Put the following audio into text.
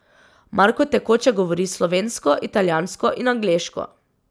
Marko tekoče govori slovensko, italijansko in angleško.